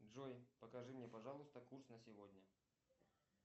джой покажи мне пожалуйста курс на сегодня